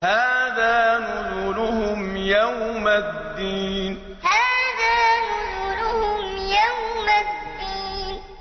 هَٰذَا نُزُلُهُمْ يَوْمَ الدِّينِ هَٰذَا نُزُلُهُمْ يَوْمَ الدِّينِ